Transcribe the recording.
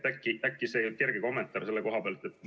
Äkki kerge kommentaar selle koha pealt?